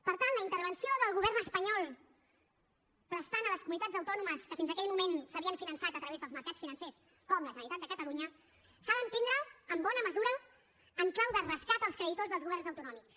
per tant la intervenció del govern espanyol prestant a les comunitats autònomes que fins a aquell moment s’havien finançat a través dels mercats financers com la generalitat de catalunya s’ha d’entendre en bona mesura en clau de rescat als creditors dels governs autonòmics